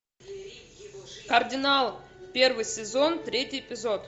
кардинал первый сезон третий эпизод